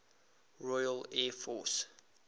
royal air force